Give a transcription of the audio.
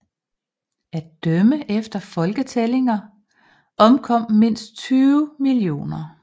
At dømme efter folketællinger omkom mindst 20 millioner